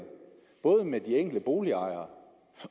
både med de enkelte boligejere